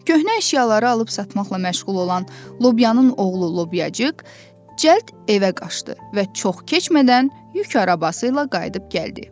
Köhnə əşyaları alıb satmaqla məşğul olan Lobyanın oğlu Lobyacıq cəld evə qaşdı və çox keçmədən yük arabası ilə qayıdıb gəldi.